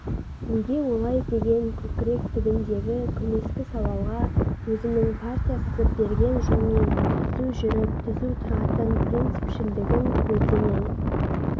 неге олай деген көкірек түбіндегі көмескі сауалға өзінің партия сызып берген жолмен түзу жүріп түзу тұратын принципшілдігін көлденең